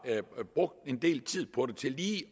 brugt en del tid på det til lige